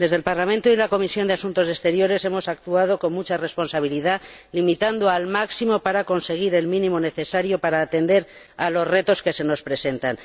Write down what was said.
Desde el Parlamento y la Comisión de Asuntos Exteriores hemos actuado con mucha responsabilidad, limitando al máximo para conseguir el mínimo necesario para atender a los retos que se nos presentan.